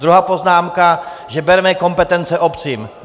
Druhá poznámka, že bereme kompetence obcím.